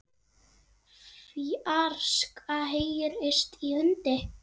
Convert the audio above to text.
fjarska heyrist í hundi.